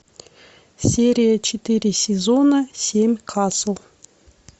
серия четыре сезона семь касл